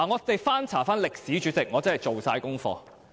代理主席，我真是做足功課。